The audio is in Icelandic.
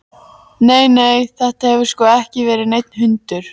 Nei, nei, þetta hefur sko ekki verið neinn hundur.